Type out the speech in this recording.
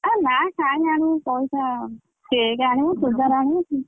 ଏ ନା କାଇଁ ଆଣିବୁ ପଇସା cake ଆଣିବୁ ଚୁଡିଦାର ଆଣିବୁ।